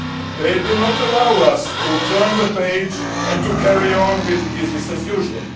They do not allow us to turn the page and to carry on with business as usual'.